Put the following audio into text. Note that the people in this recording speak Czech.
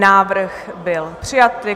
Návrh byl přijat.